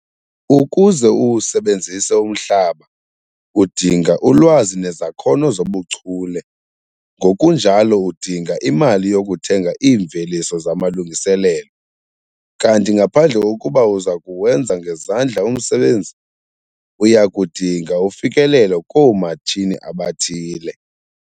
Ukuze uwusebenzise umhlaba, udinga ulwazi nezakhono zobuchule, ngokunjalo udinga imali yokuthenga iimveliso zamalungiselelo, kanti ngaphandle kokuba uza kuwenza ngezandla umsebenzi, uya kudinga ufikelelo koomatshini abathile.